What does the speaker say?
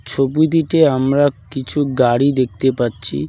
ছবিটিতে আমরা কিছু গাড়ি দেখতে পারছি।